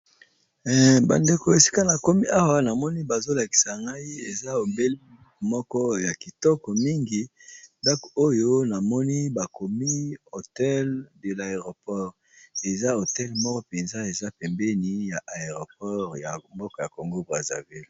bandeko esika na komi awa namoni bazolakisa ngai eza obele moko ya kitoko mingi ndako oyo namoni bakomi hotel de l'aéroport eza hotel moko mpenza eza pembeni ya aéroport ya mboko ya congo brazavire